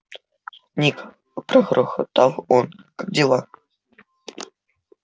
ник прогрохотал он как дела